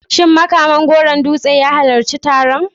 Shin Makaman Goron Dutse ya halarci taron?